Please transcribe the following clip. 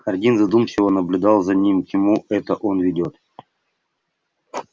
хардин задумчиво наблюдал за ним к чему это он ведёт